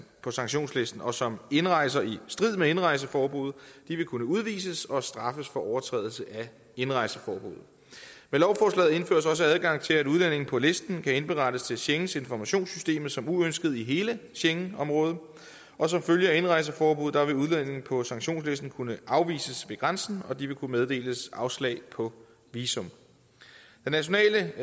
på sanktionslisten og som indrejser i strid med indrejseforbuddet vil kunne udvises og straffes for overtrædelse af indrejseforbuddet med lovforslaget indføres også adgang til at udlændinge på listen kan indberettes til schengeninformationssystemet som uønskede i hele schengenområdet og som følge af indrejseforbuddet vil udlændinge på sanktionslisten kunne afvises ved grænsen og de vil kunne meddeles afslag på visum den nationale